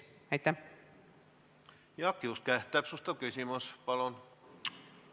Jaak Juske, täpsustav küsimus palun!